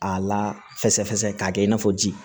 A lafɛsɛfɛsɛ k'a kɛ i n'a fɔ ji